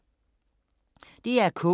DR K